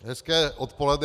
Hezké odpoledne.